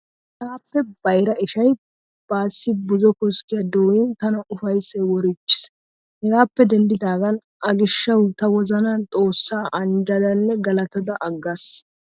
Taappe bayira ishayi baassi buzo koskkiya dooyiin tana ufayissayi woriichchiis. Hegaappe deniddidaagan a gishshawu ta wozanan Xoossaa anijjadanne galatada aggaas.